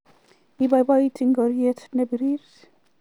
Ibiiboiti ngoriet ne birir